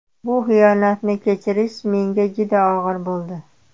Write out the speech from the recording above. Bu xiyonatni kechirish menga juda og‘ir bo‘ldi.